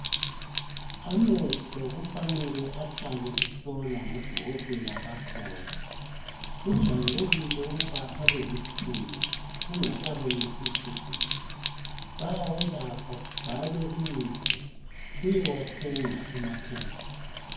Amehlo kufanele ahlale ehlolwa ngodokotela bakhona, kujayelekile ukuba abe luthuli engasabonisisi kuhle, bayawelapha kubhalwe imithi, uyewathenga emakhemesi.